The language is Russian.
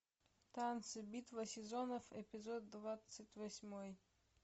танцы битва сезонов эпизод двадцать восьмой